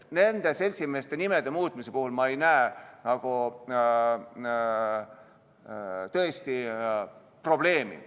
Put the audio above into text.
Nende seltsimeeste nimede puhul ei näe ma muutmisel tõesti probleemi.